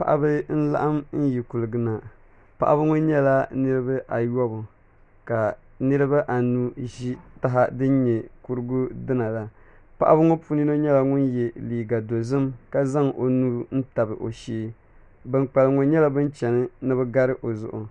Paɣaba n laɣam yi kuligi nq paɣaba ŋo nyɛla niraba ayobu ka niraba anu ʒi taha din nyɛ kurigu dina la paɣaba ŋo puuni yino nyɛla ŋun yɛ liiga dozim ka zaŋ o nuu n tabi o shee bin kpalim ŋo nyɛla bin chɛni ni bi gari o zuɣu